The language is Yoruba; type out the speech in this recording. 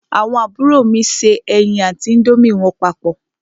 Àwọn àbúrò mi se ẹyin àti índómì wọn papọ̀.